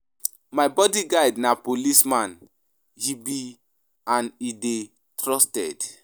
My bodyguard na policeman he be and he dey trusted.